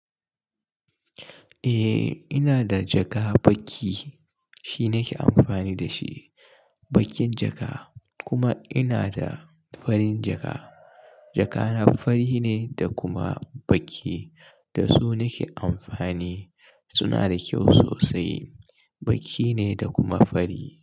Eh ina da jaka baki shi nake amfani da shi bakin jaka kuma ina da farin jaka. Jakana fari ne da kuma baki da su nake amfani suna da kyau sosai, baki ne da kuma fari.